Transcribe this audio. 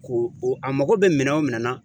Ko a mago bɛ minɛn o minɛn na